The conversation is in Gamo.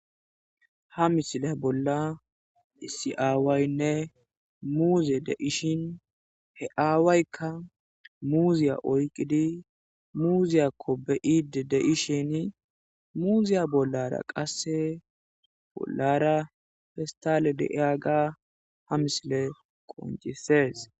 ha misile bolla isiaawaynne muuze de ishin he aawaykka muziya oyqidi muuziyakko beide deishin muuziya bollara qasse bollara festale deiyaga ha misile qoncisees